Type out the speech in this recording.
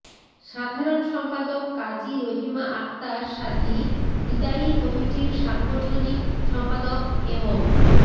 সাধারণ সম্পাদক কাজী রহিমা আক্তার সাথী বিদায়ী কমিটির সাংগঠনিক সম্পাদক এবং